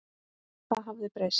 Það hafði breyst.